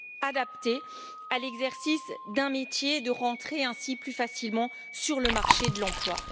adaptées à l'exercice d'un métier et de rentrer ainsi plus facilement sur le marché de l'emploi.